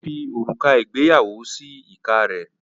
ó fi òrùka ìgbéyàwó sí ìka rẹ̀.